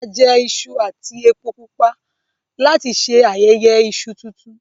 A jẹ iṣu ati epo pupa lati ṣe ayẹyẹ iṣu tuntun